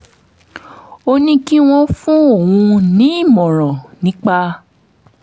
ó ní kí wọ́n fún òun nímọ̀ràn nípa